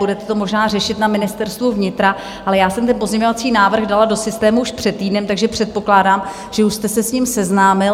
Budete to možná řešit na Ministerstvu vnitra, ale já jsem ten pozměňovací návrh dala do systému už před týdnem, takže předpokládám, že už jste se s ním seznámil.